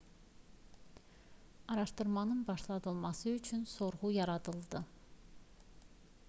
araşdırmanın başladılması üçün sorğu yaradıldı